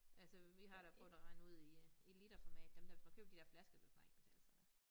Altså vi har da prøvet at regne ud i øh i literformat dem der hvis man køber de der flasker så kan det snart ikke betale sig mere